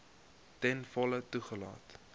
ten volle toegelaat